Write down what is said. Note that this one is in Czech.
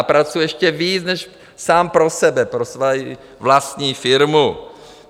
A pracuji ještě víc než sám pro sebe, pro svoji vlastní firmu.